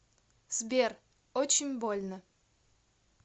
сбер очень больно